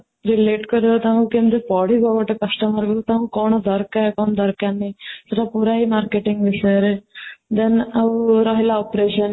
ଯିଏ late କରିବ ତାଙ୍କୁ କେମିତି ପଢିବ ଗୋଟେ customer କୁ ତାଙ୍କୁ କ'ଣ ଦରକାର କ'ଣ ଦରକାର ନାହିଁ ସେତ ପୁରା ହିଁ marketing ବିଷୟରେ then ଆଉ ରହିଲା operation